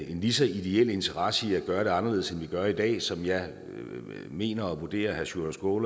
en lige så ideel interesse i at gøre det anderledes end vi gør i dag som jeg mener og vurderer herre sjúrður